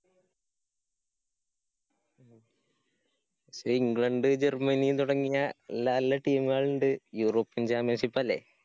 പക്ഷേ England, Germany തുടങ്ങിയ team കള്ണ്ട്. european championship അല്ലേ?